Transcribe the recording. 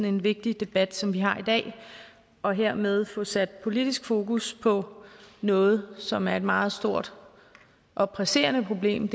en vigtig debat som den vi har i dag og hermed få sat politisk fokus på noget som er et meget stort og presserende problem